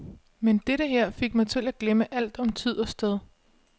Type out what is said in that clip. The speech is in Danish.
Men dette her fik mig til at glemme alt om tid og sted.